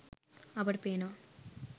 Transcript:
අපට පේනවා